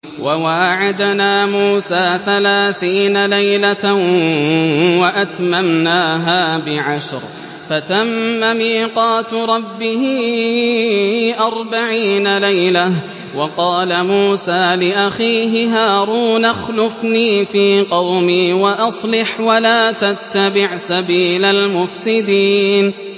۞ وَوَاعَدْنَا مُوسَىٰ ثَلَاثِينَ لَيْلَةً وَأَتْمَمْنَاهَا بِعَشْرٍ فَتَمَّ مِيقَاتُ رَبِّهِ أَرْبَعِينَ لَيْلَةً ۚ وَقَالَ مُوسَىٰ لِأَخِيهِ هَارُونَ اخْلُفْنِي فِي قَوْمِي وَأَصْلِحْ وَلَا تَتَّبِعْ سَبِيلَ الْمُفْسِدِينَ